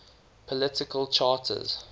political charters